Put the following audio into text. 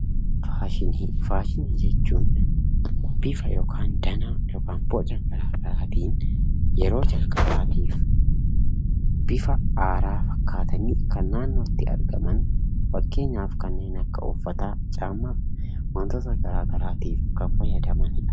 Faashinii jechuun bifa yookaan boca gara garaatin yeroo jalqabaatiif bifa haaraa fakkaateen kan naannootti argaman, fakkeenyaaf kanneen akka uffataa, kopheefi wantoota gara garaatiif kan fayyadamanidha.